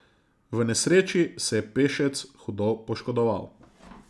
V nesreči se je pešec hudo poškodoval.